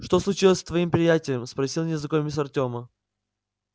что случилось с твоим приятелем спросил незнакомец артёма